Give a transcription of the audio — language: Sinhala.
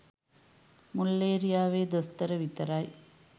මුල්ලේරියාවේ දොස්තර විතරයි.